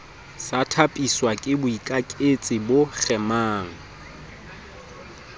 sa thapiswake boikaketsi bo kgemang